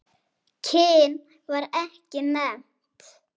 Kyn var ekki nefnt.